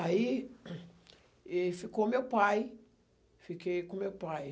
Aí e ficou meu pai, fiquei com meu pai.